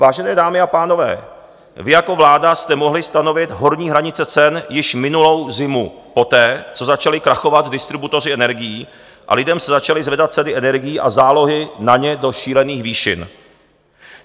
Vážené dámy a pánové, vy jako vláda jste mohli stanovit horní hranice cen již minulou zimu poté, co začaly krachovat distributoři energií a lidem se začali zvedat ceny energií a zálohy na ně do šílených výšin.